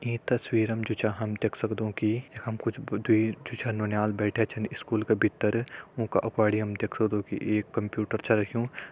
ई तस्वीरं म जु छा हम देख सकदों कि यखम कुछ द्वी जु छन नौन्याल बैठ्यां छन स्कूल का भित्तर उंका अग्वाडी हम देख सकंदु कि एक कंप्यूटर छा रखियुं।